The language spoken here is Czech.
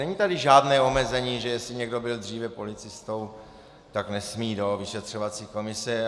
Není tady žádné omezení, že jestli někdo byl dříve policistou, tak nesmí do vyšetřovací komise.